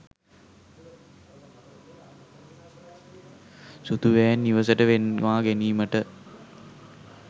සුදු වෑන් නිවසට ගෙන්වා ගැනීමට